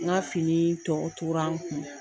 N ka fini tɔ tora n kun.